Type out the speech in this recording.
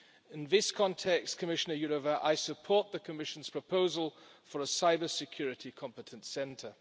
In this context, Commissioner Jourová, I support the Commission's proposal for a cybersecurity competence centre.